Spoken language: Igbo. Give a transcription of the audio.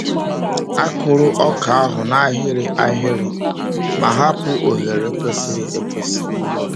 A kụrụ ọka ahụ n’ahịrị ahịrị ma hapụ oghere kwesịrị ekwesị.